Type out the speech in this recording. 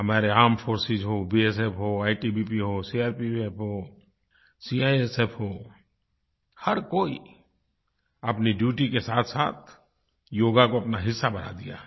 हमारे armed forces हों BSF हो आईटीबीपी हो सीआरपीएफ हो सीआईएसएफ हो हर कोई अपनी ड्यूटी के साथसाथ योग को अपना हिस्सा बना दिया है